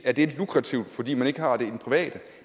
er det lukrativt fordi man ikke har det i det private